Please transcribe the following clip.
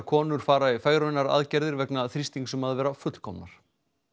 konur fara í fegrunaraðgerðir vegna þrýstings um að vera fullkomnar